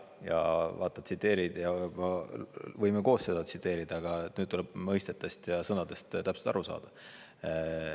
Ja vaata, tsiteerid ja võime koos seda tsiteerida, aga nüüd tuleb mõistetest ja sõnadest täpselt aru saada.